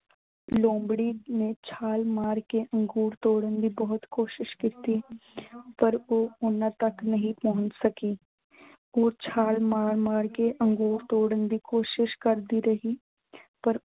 ਲੋਮੜੀ ਨੇ ਛਾਲ ਮਾਰ ਕੇ ਅੰਗੂਰ ਤੋੜਨ ਦੀ ਬਹੁਤ ਕੋਸ਼ਿਸ਼ ਕੀਤੀ । ਪਰ ਉਹ ਉਨ੍ਹਾਂ ਤੱਕ ਨਹੀਂ ਪਹੁੰਚ ਸਕੀ। ਉਹ ਛਾਲ ਮਾਰ ਮਾਰ ਕੇ ਅੰਗੂਰ ਤੋੜਨ ਦੀ ਕੋਸ਼ਿਸ਼ ਕਰਦੀ ਰਹੀ ਪਰ